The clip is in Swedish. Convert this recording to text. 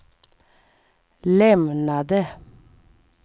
lämnade